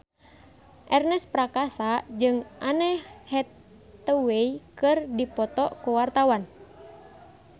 Ernest Prakasa jeung Anne Hathaway keur dipoto ku wartawan